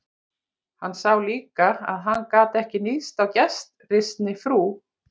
Hann sá líka að hann gat ekki níðst á gestrisni frú